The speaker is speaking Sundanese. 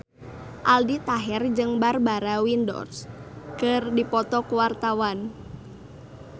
Aldi Taher jeung Barbara Windsor keur dipoto ku wartawan